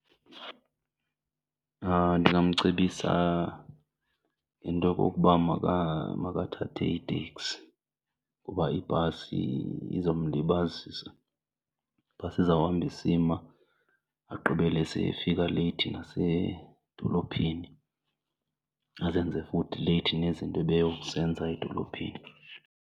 Ndingamcebisa ngento yokokuba makathathe iteksi kuba ibhasi izomlibazisa. Ibhasi izawuhamba isima agqibele seyefika leyithi nasedolophini azenze futhi leyithi nezinto ebeyokuzenza edolophini.